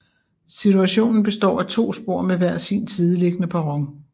Stationen består af to spor med hver sin sideliggende perron